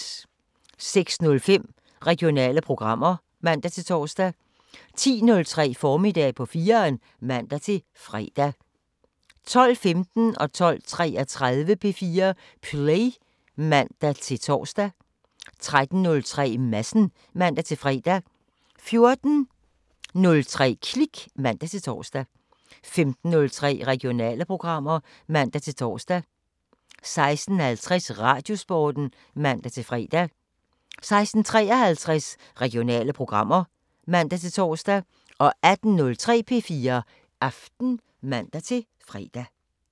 06:05: Regionale programmer (man-tor) 10:03: Formiddag på 4'eren (man-fre) 12:15: P4 Play (man-fre) 12:33: P4 Play (man-tor) 13:03: Madsen (man-fre) 14:03: Klik (man-tor) 15:03: Regionale programmer (man-tor) 16:50: Radiosporten (man-fre) 16:53: Regionale programmer (man-tor) 18:03: P4 Aften (man-fre)